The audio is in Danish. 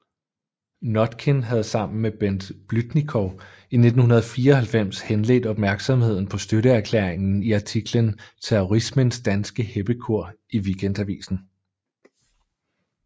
Notkin havde sammen med Bent Blüdnikow i 1994 henledt opmærksomheden på støtteerklæringen i artiklen Terrorismens danske heppekor i Weekendavisen